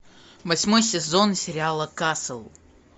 восьмой сезон сериала касл